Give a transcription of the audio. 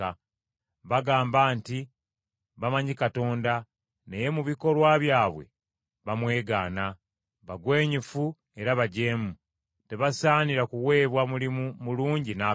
Bagamba nti bamanyi Katonda, naye mu bikolwa byabwe bamwegaana. Bagwenyufu era bajeemu, tebasaanira kuweebwa mulimu mulungi n’akatono.